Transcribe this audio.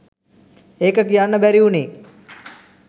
ඒක කියන්න බැරි වුණේ